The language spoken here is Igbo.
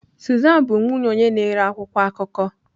Susan bụ nwunye onye na-ere akwụkwọ akụkọ.